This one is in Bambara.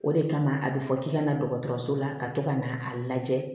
O de kama a bɛ fɔ k'i ka na dɔgɔtɔrɔso la ka to ka na a lajɛ